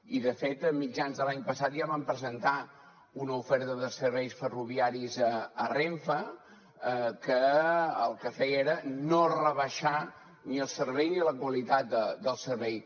i de fet a mitjans de l’any passat ja vam presentar una oferta de serveis ferroviaris a renfe que el que feia era no rebaixar ni el servei ni la qualitat del servei